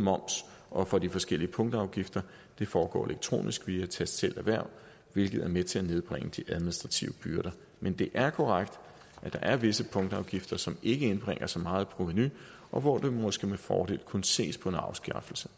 moms og for de forskellige punktafgifter det foregår elektronisk via tastselv erhverv hvilket er med til at nedbringe de administrative byrder men det er korrekt at der er visse punktafgifter som ikke indbringer så meget i provenu og hvor der måske med fordel kunne ses på en afskaffelse